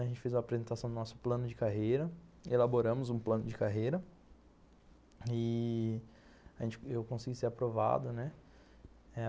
A gente fez a apresentação do nosso plano de carreira, elaboramos um plano de carreira e... a gente, eu consegui ser aprovado, né.